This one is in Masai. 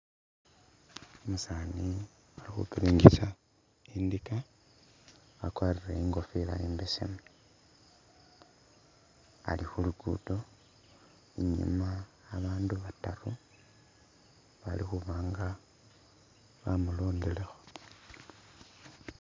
Umusani Ali khupiringisa indika wakwarile inkofila imbesemu, ali khu'luguddo inyuma bandu bataru balikhuba nga bamulondelekho